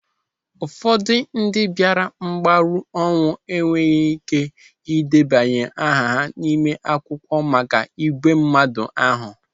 Ụfọdụ ndị bịara mgbaru ọnwụ enweghị ike ideba aha ha n'ime akwụkwọ maka ìgwè mmadụ ahụ.